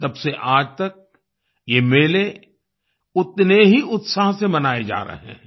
तब से आज तक ये मेले उतने ही उत्साह से मनाये जा रहे हैं